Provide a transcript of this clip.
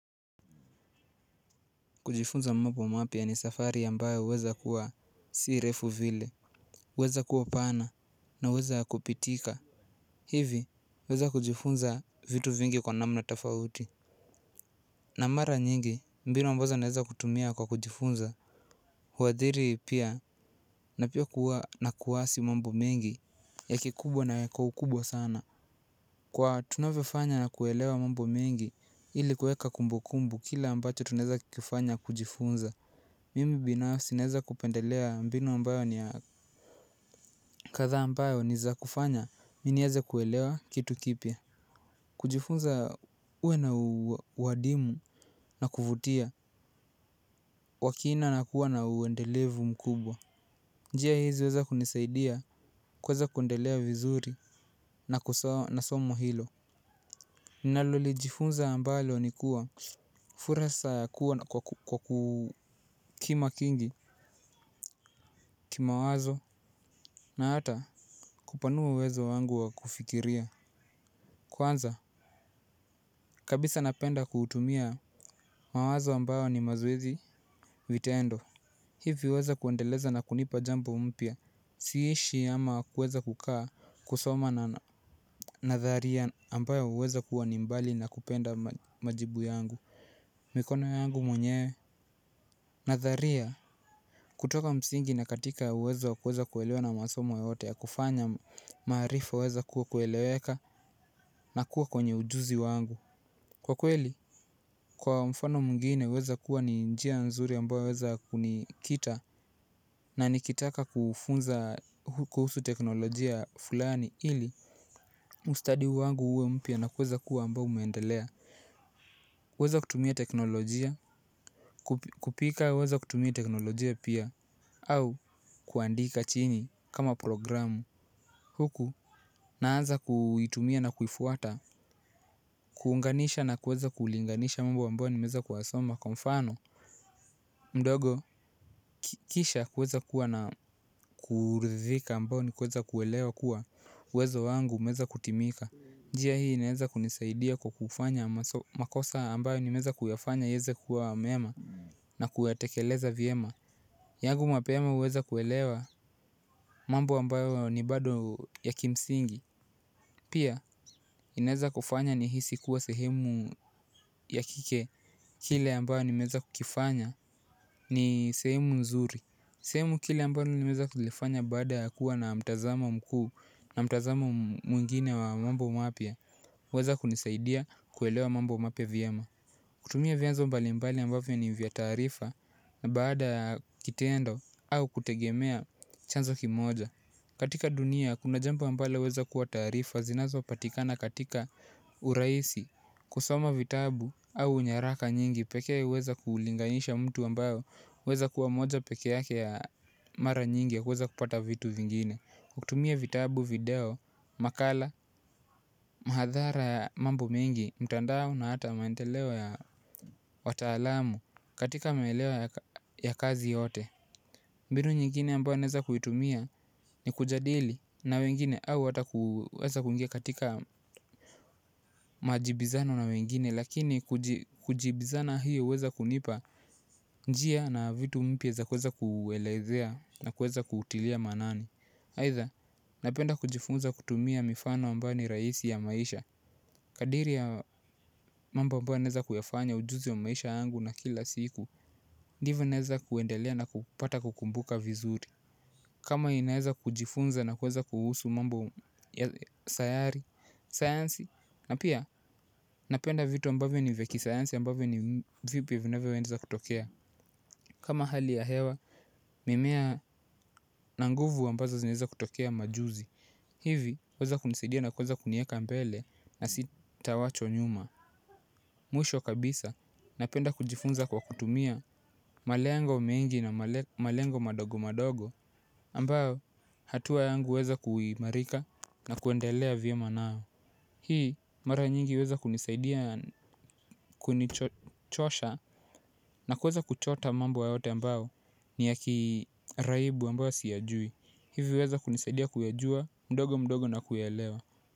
Kujifunza mambo mapya ni safari ambayo huweza kuwa si refu vile. Weza kuwa pana na uwezo ya kupitika hivi huweza kujifunza vitu vingi kwa namna tafauti. Na mara nyingi mbinu ambazo naweza kutumia kwa kujifunza. Huadhiri pia na pia kuwa na kuwasi mambo mengi. Ya kikubwa na ya kwa ukubwa sana kwa tunavefanya na kuelewa mambo mengi ili kueka kumbu kumbu kila ambacho tuneza kifanya kujifunza. Mimi binafsi naweza kupendelea mbinu ambayo ni ya kadhaa ambayo ni za kufanya mimi niweze kuelewa kitu kipya kujifunza uwe na uadimu na kuvutia wa kina na kuwa na uendelevu mkubwa. Njia hizi huweza kunisaidia kuweza kuendelea vizuri na kusawa na somo hilo. Ninalo lijifunza ambalo ni kuwa furasa ya kuwa kwa kukima kingi kima wazo. Na hata kupanua uwezo wangu wa kufikiria kwanza kabisa napenda kutumia mawazo ambayo ni mazoezi vitendo hivi huweza kuendeleza na kunipa jambo mpya. Si ishi ama kuweza kukaa kusoma na nadharia ambayo huweza kuwa ni mbali na kupenda majibu yangu. Mikono yangu mwenyewe nadharia kutoka msingi na katika uwezo wa kuweza kuelewa na masomo yote ya kufanya maarifa huweza ku kueleweka na kuwa kwenye ujuzi wangu. Kwa kweli, kwa mfano mwingine huweza kuwa ni njia nzuri ambayo huweza kunikita. Na nikitaka kufunza kuhusu teknolojia fulani ili mustadi wangu uwe mpya na kuweza kuwa ambayo umeendelea kuweza kutumia teknolojia kupika weza kutumia teknolojia pia au kuandika chini kama programu. Huku naanza kuitumia na kuifuata. Kuunganisha na kuweza kulinganisha mambo ambayo nimeweza kuyasoma kwa mfano mdogo, kisha kuweza kuwa na kuridhika amabyo ni kuweza kuelewa kuwa uwezo wangu umeweza kutimika njia hii inaweza kunisaidia kufanya makosa ambayo nimeyafanya iweze kiwa mema. Na kuyatekeleza vyema yangu mapema huweza kuelewa mambo ambayo ni bado ya kimsingi. Pia, inaweza kufanya ni hisi kuwa sehemu ya kike. Kile ambayo nimeweza kukifanya ni sehemu nzuri. Sehemu kile ambayo nimeweza kulifanya baada ya kuwa na mtazamo mkuu. Na mtazamo mwingine wa mambo mapya weza kunisaidia kuelewa mambo mapya vyema. Kutumia vyanzo mbali mbali ambavyo ni vya taarifa. Na baada ya kitendo au kutegemea chanzo kimoja katika dunia kuna jambo ambalo huweza kuwa taarifa zinazo patikana katika urahisi. Kusoma vitabu au unyaraka nyingi pekee huweza kulinganisha mtu ambayo huweza kuwa moja peke yake ya mara nyingi ya kuweza kupata vitu vingine. Kutumia vitabu video, makala, mahadhara ya mambo mingi, mtandao na hata maendeleo ya wataalamu katika maelewa ya kazi yote mbinu nyingine ambayo naweza kuitumia ni kujadili na wengine au hata kuweza kuingia katika majibizano na wengine. Lakini kujibizana hiyo huweza kunipa njia na vitu mpya za kuweza kuelezea na kuweza kutilia manani aidha napenda kujifunza kutumia mifano ambayo ni rahisi ya maisha. Kadiri ya mambo ambayo naweza kuyafanya ujuzi ya maisha yangu ya kila siku. Ndivyo naweza kuendelea na kupata kukumbuka vizuri. Kama inaeza kujifunza na kuweza kuhusu mambo ya sayari sayansi na pia napenda vitu ambavyo ni vya kisayansi ambavyo ni vipi vinavyoweza kutokea kama hali ya hewa mimea na nguvu ambazo zinaweza tokea majuzi mara nyingi huweza kunisaidia kunichosha na kuweza kuchota mambo ya wote mbayo ni yaki kiraibu ambayo siyajui. Hivyo weza kunisaidia kuyajua mdogo mdogo na kuyaelewa.